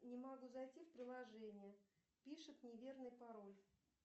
не могу зайти в приложение пишет неверный пароль